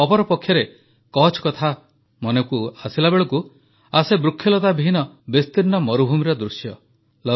ଅପରପକ୍ଷରେ କଚ୍ଛ କଥା ପଡ଼ିଲା ବେଳକୁ ମନକୁ ଆସେ ବୃକ୍ଷଲତା ବିହୀନ ବିସ୍ତୀର୍ଣ୍ଣ ମରୁଭୂମିର ଦୃଶ୍ୟ